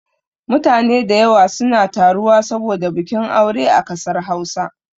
Mutane da yawa suna taruwa saboda bikin aure a kasar Hausa